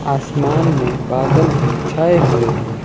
आसमान में बादल भी छाए हुए हैं।